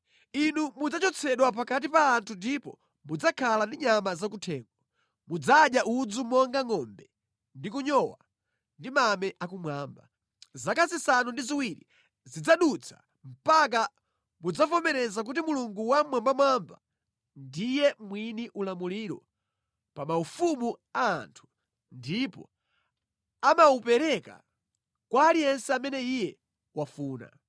Inu mudzachotsedwa pakati pa anthu ndipo mudzakhala ndi nyama zakuthengo; mudzadya udzu monga ngʼombe ndi kunyowa ndi mame akumwamba. Zaka zisanu ndi ziwiri zidzadutsa mpaka mudzavomereze kuti Mulungu Wammwambamwamba ndiye mwini ulamuliro pa ma ufumu a anthu, ndipo amawapereka kwa aliyense amene Iye wafuna.